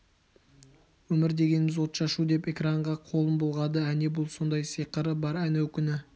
өмір дегеніміз отшашу деп экранға қолын бұлғады әне бұл сондай сиқыры бар әнеукүні